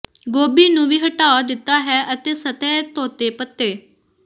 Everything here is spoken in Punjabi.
ਗੋਭੀ ਨੂੰ ਵੀ ਹਟਾ ਦਿੱਤਾ ਹੈ ਅਤੇ ਸਤਹ ਧੋਤੇ ਪੱਤੇ